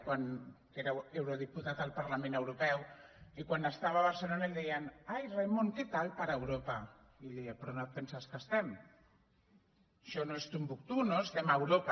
quan era eurodiputat al parlament europeu i quan estava a barcelona li deien ai raimon què tal per europa i ell deia però on et penses que estem això no és timbuctú no estem a europa